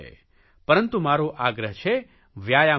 પરંતુ મારો આગ્રહ છે વ્યાયામ કરો